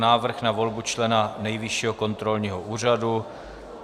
Návrh na volbu člena Nejvyššího kontrolního úřadu